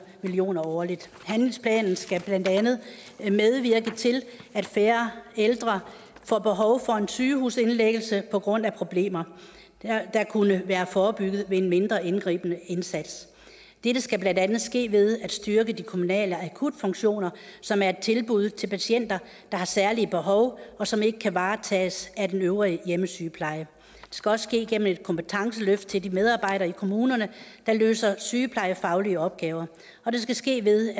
million kroner årligt handlingsplanen skal blandt andet medvirke til at færre ældre får behov for en sygehusindlæggelse på grund af problemer der kunne være forebygget ved en mindre indgribende indsats dette skal blandt andet ske ved at styrke de kommunale akutfunktioner som er et tilbud til patienter der har særlige behov som ikke kan varetages af den øvrige hjemmesygepleje det skal også ske igennem et kompetenceløft til de medarbejdere i kommunerne der løser sygeplejefaglige opgaver og det skal ske ved